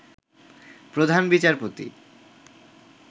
প্রধান বিচারপতি